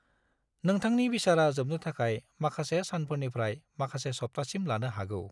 नोंथांनि बिसारा जोबनो थाखाय माखासे सानफोरनिफ्राय माखासे सप्तासिम लानो हागौ।